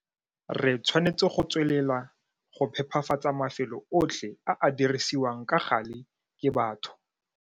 Re tshwanetse go tswelela go phepafatsa mafelo otlhe a a dirisiwang ka gale ke batho.